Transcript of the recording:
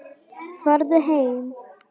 Farðu heim.